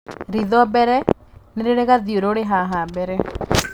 Ritho mbele nĩ rĩrĩ gathiũrũrĩ haha mbere